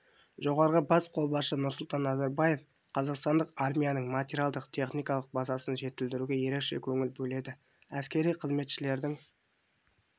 жоғарғы бас қолбасшысы нұрсұлтан назарбаев қазақстандық армияның материалдық-техникалық базасын жетілдіруге ерекше көңіл бөледі әскери қызметшілердің